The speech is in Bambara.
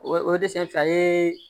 O o desɛ a ye